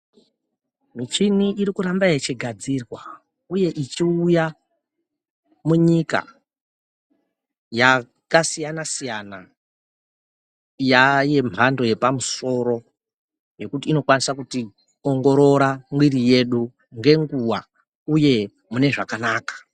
Michini irikuramba ichigadzirwa uye ichiuya munyika yakasiyana-siyana. Yaayemhando yepamusoro yekuti inokwanisa kutiongorora mwiri yedu ngenguwa uye munezvakanaka.